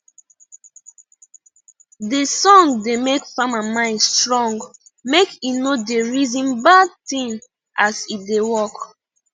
de song da make farmer mind strong make he no da reason bad thing as he da work